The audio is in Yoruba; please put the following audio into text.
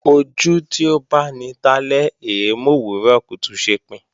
Ojú tí ó báni talẹ́ è é mòwúrọ̀ kùtù ṣepin